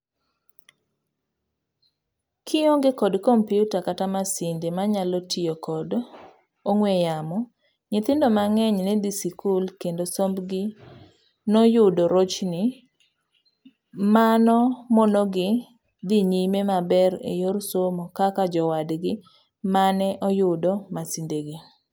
Kionge kod kompiuta kata masinde manyalo tiyo kod ong'ue yamo,,nyithindo mang'eny ne dhi sikul kendo sombgi noyudo rochni manomonogi dhi nyime maber eyor somo kaka jowadgi mane oyudo masindegi.